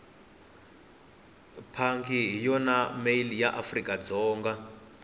pandi hhiyona male yaafrikadzonga